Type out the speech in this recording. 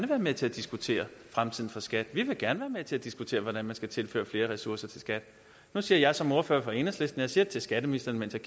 være med til at diskutere fremtiden for skat de vil gerne være med til at diskutere hvordan man kan tilføre flere ressourcer til skat nu siger jeg som ordfører for enhedslisten til skatteministeren mens jeg